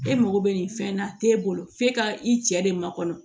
E mago bɛ nin fɛn na te e bolo f'e ka i cɛ de ma kɔnɔ